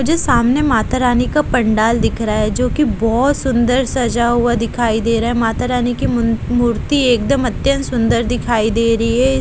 सामने माता रानी का पंडाल दिख रहा है जो कि बहोत सुंदर सजा हुआ दिखाई दे रहा है माता रानी की मु मूर्ति एकदम अत्यंत सुंदर दिखाई दे रही है।